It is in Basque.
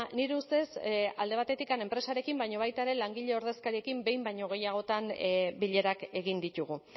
nire ustez alde batetik enpresarekin baina baita ere langile ordezkariekin behin baino gehiagotan bilerak egin ditugu